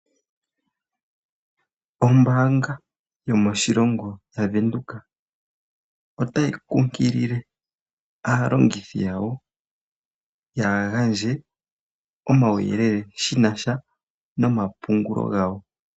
Ombaanga yomoshilongo yaVenduka otayi kunkilile aalongithi yawo yaagandje omauyelele shina sha nomapungulo gawo.